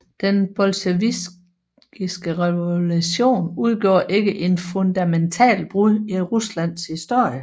Den bolsjevikiske revolution udgjorde ikke et fundamentalt brud i Ruslands historie